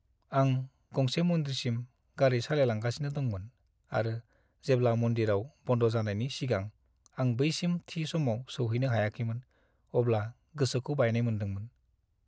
आं गंसे मन्दिरसिम गारि सालायलांगासिनो दंमोन आरो जेब्ला मन्दिराव बन्द' जानायनि सिगां आं बैसिम थि समाव सौहैनो हायाखैमोन अब्ला गोसोखौ बायनाय मोनदोंमोन।